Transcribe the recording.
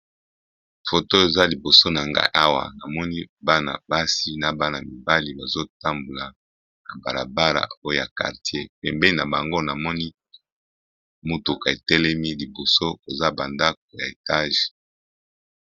Foto eza liboso na ngai awa namoni bana basi na bana mibali bazotambola na balabala. Na kartier pembeni na bango namoni motuka ya langi ya moyindo etelemi liboso, koza bandako ya etage.